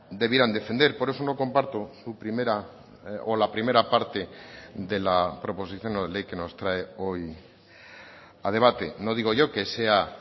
debieran defender por eso no comparto su primera o la primera parte de la proposición no de ley que nos trae hoy a debate no digo yo que sea